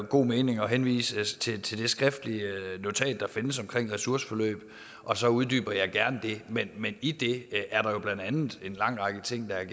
god mening at henvise til til det skriftlige notat der findes om ressourceforløb og så uddyber jeg gerne det men i det notat er der jo blandt andet en lang række ting så jeg